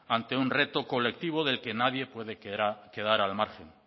ante un reto colectivo del que nadie puede quedar al margen